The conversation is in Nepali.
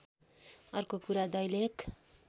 अर्को कुरा दैलेख